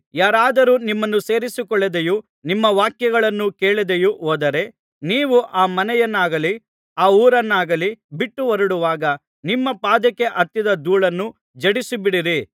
ಯಾರಾದರೂ ನಿಮ್ಮನ್ನು ಸೇರಿಸಿಕೊಳ್ಳದೆಯೂ ನಿಮ್ಮ ವಾಕ್ಯಗಳನ್ನೂ ಕೇಳದೆಯೂ ಹೋದರೆ ನೀವು ಆ ಮನೆಯನ್ನಾಗಲಿ ಆ ಊರನ್ನಾಗಲಿ ಬಿಟ್ಟು ಹೊರಡುವಾಗ ನಿಮ್ಮ ಪಾದಕ್ಕೆ ಹತ್ತಿದ ಧೂಳನ್ನು ಝಾಡಿಸಿಬಿಡಿರಿ